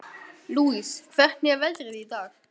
Lousie, hvernig er veðrið í dag?